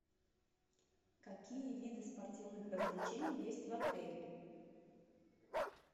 какие виды спортивных развлечений есть в отеле